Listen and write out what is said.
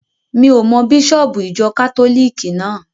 Mi ò mọ bísọ̀bù ìjọ kátólìkì náà.